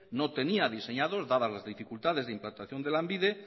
no tenía diseñados dada las dificultades de implantación de lanbide